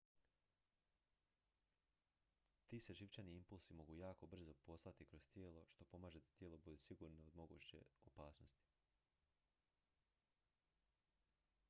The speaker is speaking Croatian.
ti se živčani impulsi mogu jako brzo poslati kroz tijelo što pomaže da tijelo bude sigurno od moguće opasnosti